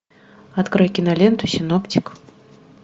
открой киноленту синоптик